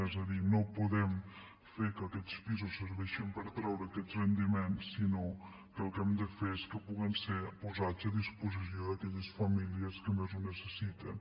és a dir no podem fer que aquests pisos serveixin per treure aquest rendiment sinó que el que hem de fer és que puguen ser posats a disposició d’aquelles famílies que més ho necessiten